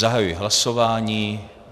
Zahajuji hlasování.